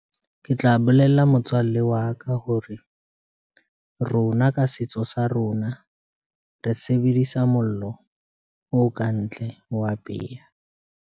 Ke tla bolella motswalle wa ka hore, rona ka setso sa rona re sebedisa mollo o kantle ho apeha.